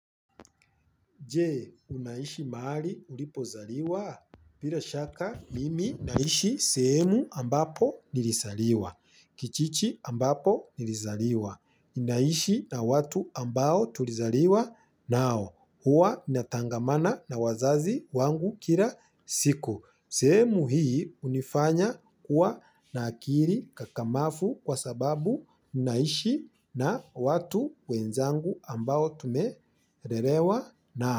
Je, unaishi mahali ulipozaliwa? Bila shaka mimi, naishi sehemu ambapo nilizaliwa. Kijiji ambapo nilizaliwa. Naishi na watu ambao tulizaliwa nao. Huwa natangamana na wazazi wangu kila siku. Sehemu hii hunifanya kuwa na akili kakamafu kwa sababu unaishi na watu wenzangu ambao tumelelewa nao.